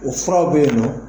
O furaw be yen nɔ